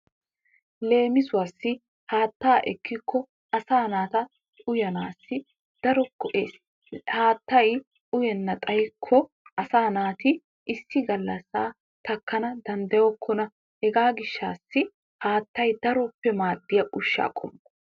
Leemisuwassi haattaa ekkikko asaa naata uyanaassi daro go''ees. Haattay uyennan xayyikko asaa naati issi galasaa takkanawu dandayokkona. Hegaa gishshaassi haattay daroppe maadiya ushshaa qommo.